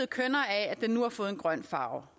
kønnere af at den nu har fået en grøn farve